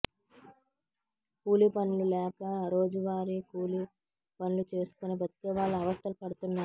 కూలీ పనులు లేక రోజువారీ కూలీ పనులు చేసుకుని బ్రతికేవాళ్లు అవస్థలు పడుతున్నారు